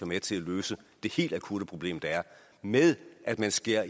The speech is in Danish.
med til at løse det helt akutte problem der er med at man skærer